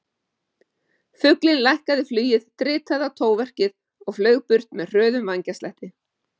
Fuglinn lækkaði flugið, dritaði í tóverkið og flaug burt með hröðum vængjaslætti.